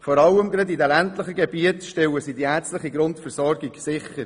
Vor allem in den ländlichen Gebieten stellen sie die ärztliche Grundversorgung sicher.